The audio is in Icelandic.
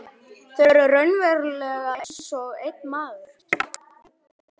Þau eru raunverulega einsog einn maður.